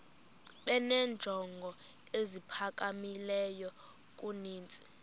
benenjongo eziphakamileyo kunezi